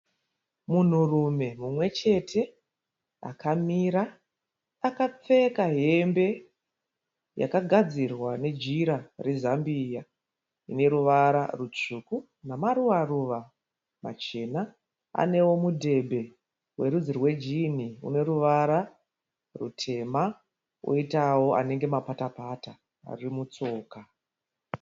Munhurumwe mumwechete akamira. Akapfeka hembe yakagadzirwa nejira rezambia rine ruvara rutsvuku nemaruva-ruva machena. Anewo mudhebhe werudzi rwejini une ruvara rutema oitawo anenge mapata-pata ari mutsoka.